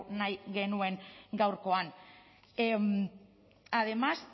nahi genuen gaurkoan además